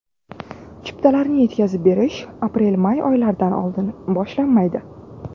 Chiptalarni yetkazib berish aprelmay oylaridan oldin boshlanmaydi.